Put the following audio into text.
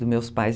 dos meus pais.